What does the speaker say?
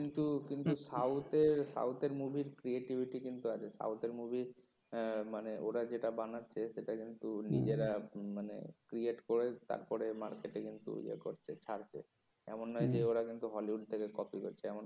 কিন্তু সউথের মুভির creativity কিন্তু আছে সাউথের মুভি মানে ওরা যেটা বানাচ্ছে কিন্তু নিজেরা করে তারপরে মার্কেটে কিন্তু ইয়ে করছে ছাড়ছে এমন নয় যে ওরা কিন্তু হলিউড থেকে কপি করছে